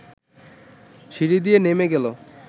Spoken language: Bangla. সিঁড়ি দিয়ে নেমে গেল